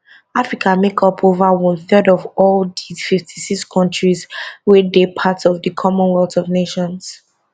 africa make up for ova one third of all di 56 kontris wey dey part of di commonwealth of nations